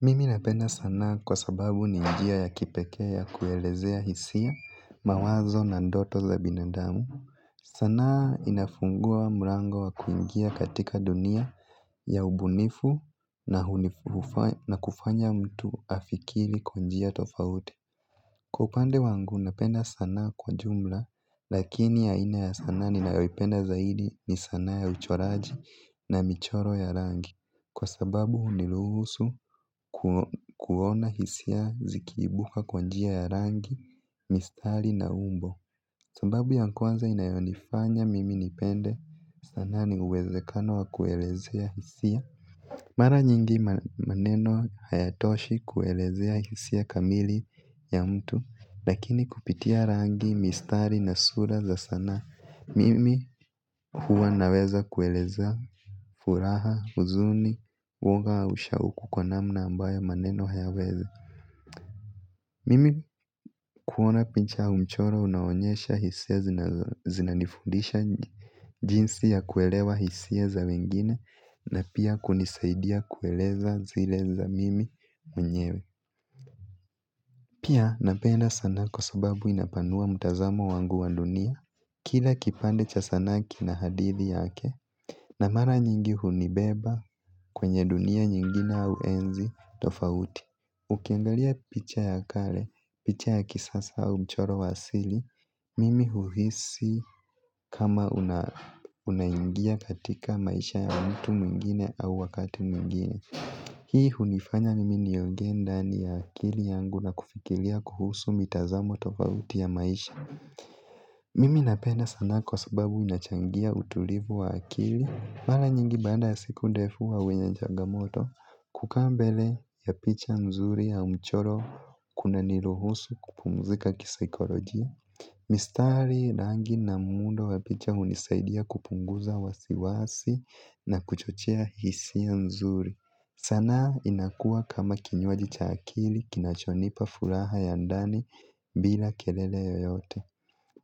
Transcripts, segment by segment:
Mimi napenda sanaa kwa sababu ni njia ya kipekee ya kuelezea hisia mawazo na ndoto za binadamu. Sanaa inafungua mlango wa kuingia katika dunia ya ubunifu na kufanya mtu afikiri kwa njia tofauti. Kwa upande wangu napenda sanaa kwa jumla lakini ya ina ya sana ninayoipenda zaidi ni sanaa ya uchoraji na michoro ya rangi. Kwa sababu uniluhusu kuona hisia zikiibuka kwanjia ya rangi, mistari na umbo. Sambabu ya kwanza inayonifanya mimi nipende sanaa ni uwezekano wa kuelezea hisia. Mara nyingi maneno hayatoshi kuelezea hisia kamili ya mtu. Lakini kupitia rangi mistari na sura za sanaa mimi huwa naweza kueleza furaha, huzuni, woga au sha uku kwa namna ambayo maneno hayaweza. Mimi kuona pincha aumchoro unaonyesha hisia zinanifundisha jinsi ya kuelewa hisia za wengine na pia kunisaidia kueleza zileza mimi mnyewe. Pia napenda sanaa kwa sababu inapanua mutazamo wangu wandunia. Kila kipande cha sanaaki na hadithi yake Namara nyingi hunibeba kwenye dunia nyingine au enzi tofauti. Ukiangalia picha ya kale, picha ya kisasa au mchoro wasili mimi huhisi kama unaingia katika maisha ya mtu mwingine au wakati mwingine. Hii hunifanya mimi niongeenda ni akili yangu na kufikilia kuhusu mitazamo tofauti ya maisha. Mimi napenda sanaa kwa sababu inachangia utulivu wa akili. Mala nyingi baada ya siku defu wa wenye nchagamoto. Kukambele ya picha nzuri ya mchoro kuna niluhusu kupumzika kisaikolojia. Mistari, rangi na muundo ya picha unisaidia kupunguza wasiwasi na kuchochea hisi ya nzuri. Sana inakua kama kinywaji cha akili kinachonipa furaha ya ndani bila kelele yoyote.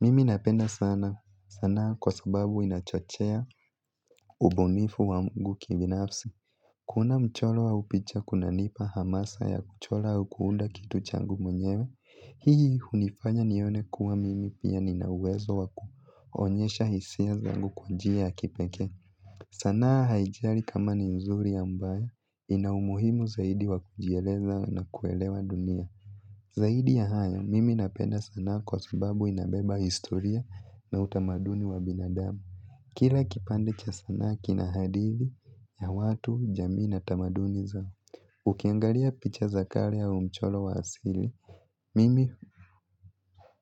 Mimi napenda sana sanaa kwa sababu inachochea ubunifu wa ngu kibinafsi. Kuona mcholo wa upicha kuna nipa hamasa ya kuchola au kuunda kitu changu mwenyewe. Hii unifanya nione kuwa mimi pia ninauwezo wa kuonyesha hisia zangu kwa njia ya kipeke. Sana haijari kama ni mzuri au mbaya inaumuhimu zaidi wa kujieleza na kuelewa dunia. Zahidi ya hayo, mimi napenda sana kwa sababu inabeba historia na utamaduni wa binadamu. Kira kipande cha sana kina hadithi ya watu jamii na tamaduni zao. Ukiangalia picha zakale au mcholo wa hasili mimi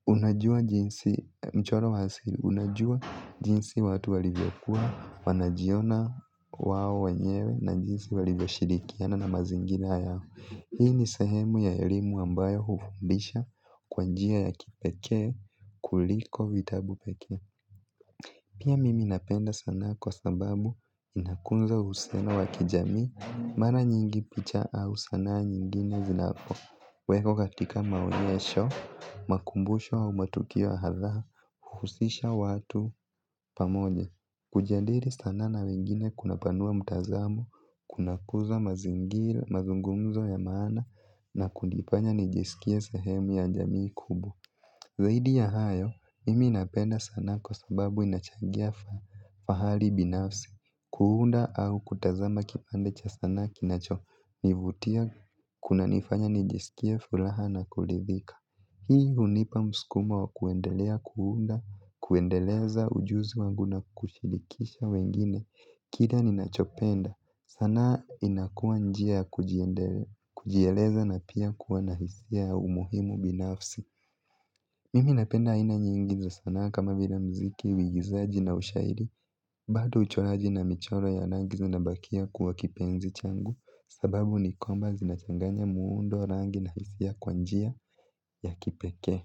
unajua jinsi mcholo wa hasili, unajua jinsi watu walivyokuwa, wanajiona wao wanyewe na jinsi walivyoshirikiana na mazingira yao. Hii ni sehemu ya elimu ambayo huumbisha kwa njia ya kipekee kuliko vitabu pekee. Pia mimi napenda sanaa kwa sababu inakunza uhusiana wakijami. Mara nyingi picha au sanaa nyingine zinapo weko katika maonyesho, makumbusho au matukio hadha, huhusisha watu pamoja. Kujandiri sana na wengine kuna panua mtazamo, kuna kuza mazingili, mazungumzo ya maana na kundipanya nijisikia sehemu ya njamii kubwa. Zaidi ya hayo, mimi napenda sana kwa sababu inachangia fahali binafsi, kuunda au kutazama kipande cha sana kinacho nivutia kuna nifanya nijiskie fulaha na kulithika. Hii unipa mskuma wa kuendelea kuunda, kuendeleza ujuzi wangu na kushirikisha wengine, kila ninachopenda, sanaa inakuwa njia kujieleza na pia kuwa na hisia ya umuhimu binafsi. Mimi napenda haina nyingi za sanaa kama vila mziki, uigizaji na ushairi, bado uchoraji na michoro ya rangi zinabakia kuwa kipenzi changu, sababu ni kwamba zinachanganya muundo rangi na hisia kwa njia ya kipekee.